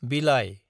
Bhilai